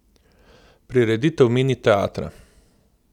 Prireditev Mini teatra.